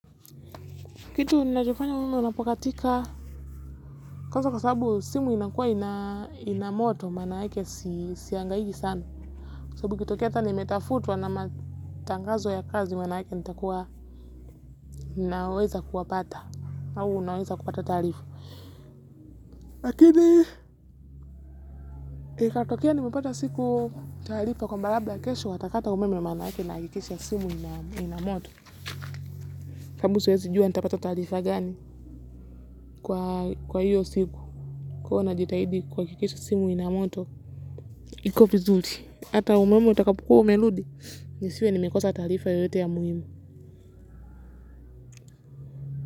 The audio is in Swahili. Kitu nilachofanya ume unapokatika kwa sababu simu inakuwa ina moto mana hake siyangahigi sana sababu ikitokea nimetafutwa na matangazo ya kazi maana yake ninaweza kuwapata au unaweza kupata tarifa lakini ikatokea nimepata siku tarifa kwamba labda kesho watakata umeme maanake nahakikisha simu inaa moto sababu siwezi jua nitapata taarifa gani kwa hiyo siku kwa hiyo najidaidi simu ina moto iko vizuri. Ata umeme utapokuwa umeludi, nisiwe nimekosa tarifa yoyote ya muhimu.